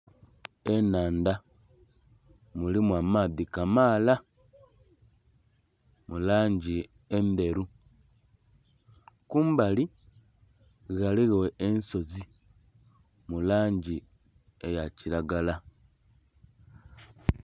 Ennhandha mulimu amaadhi kamaala mu langi endheru. Kumbali ghaligho ensozi mu langi eya kiragala.